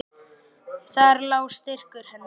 Þar lá styrkur hennar.